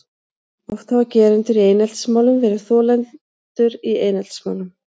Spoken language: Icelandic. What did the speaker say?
Oft hafa gerendur í eineltismálum verið þolendur í eineltismálum.